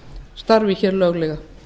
starfi hér löglega